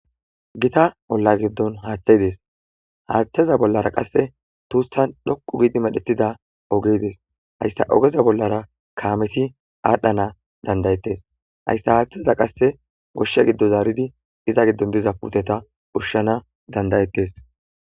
Gita olla giddon haathay des haathaza bollara qasse tussan xoqqu gidi medhettida oge des heyssa ogeza bollara kaameti aadhana danda'ettes hayssa aathiza qasse uushsha giddo zaaridi iza giddon diza puuteta ushshana danda'ettes.